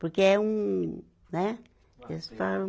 Porque é um, né? Eles falam